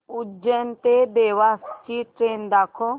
उज्जैन ते देवास ची ट्रेन दाखव